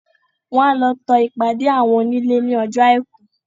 Wọ́n a lọ to ìpàdé àwọn onílè ní ọjọ́ àìkú.